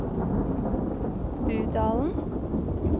Budalen